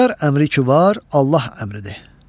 Xodkar əmri ki var, Allah əmridir.